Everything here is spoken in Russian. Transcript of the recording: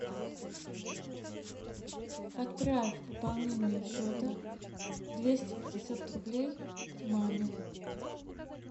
отправь пополнение счета двести пятьдесят рублей маме